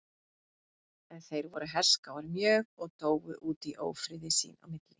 en þeir voru herskáir mjög og dóu út í ófriði sín á milli